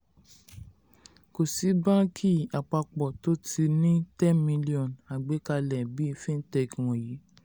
kò sí báńkì àpapọ̀ tó ti ní ten million agbàkalẹ̀ bíi fintech wọ̀nyí.